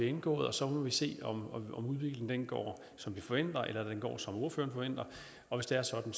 indgået og så må vi se om udviklingen går som vi forventer eller om den går som ordføreren forventer og hvis det er sådan